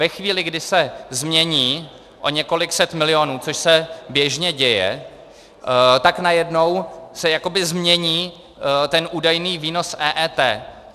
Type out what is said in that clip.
Ve chvíli, kdy se změní o několik set milionů, což se běžně děje, tak najednou se jakoby změní ten údajný výnos EET.